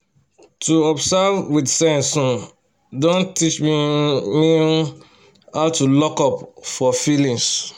to observe with sense um don teach me um me um how to lockup for feelings